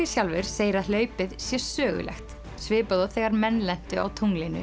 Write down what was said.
sjálfur segir að hlaupið sé sögulegt svipað og þegar menn lentu á